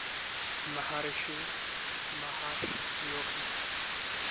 maharishi mahesh yogi